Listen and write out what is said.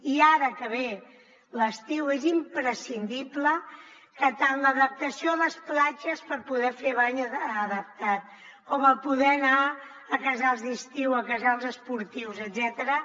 i ara que ve l’estiu és imprescindible que tant l’adaptació a les platges per poder fer bany adaptat com el poder anar a casals d’estiu a casals esportius etcètera